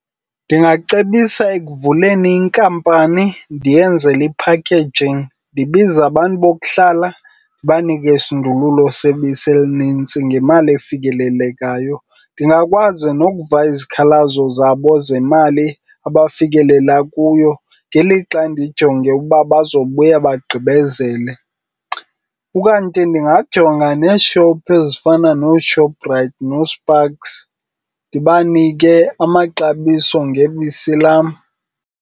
Ndingacebisa ekuvuleni inkampani ndiyenzele i-packaging. Ndibize abantu bokuhlala ndibanike isindululo sebisi elinintsi ngemali efikelelekayo. Ndingakwazi nokuva izikhalazo zabo zemali abafikelela kuyo ngelixa ndijonge uba buzobuya bagqibezele. Ukanti ndingajonga nee-shop ezifana nooShoprite nooSpargs ndibanike amaxabiso ngebisi lam.